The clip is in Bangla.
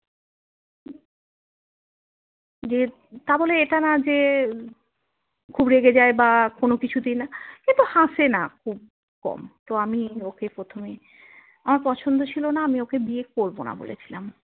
যে তাবলে এটা না যে খুব রেগে যাই বা কোনো কিছুতেই না কিন্তু হাসিনা খুব কম তো আমি ওকে প্রথমে আমার পছন্দ ছিল না ওকে বিয়ে করবোনা বলে ছিলাম